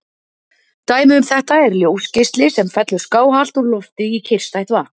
Dæmi um þetta er ljósgeisli sem fellur skáhallt úr lofti í kyrrstætt vatn.